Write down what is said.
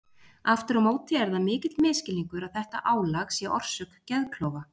Aftur á móti er það mikill misskilningur að þetta álag sé orsök geðklofa.